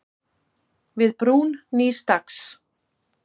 Við brún nýs dags.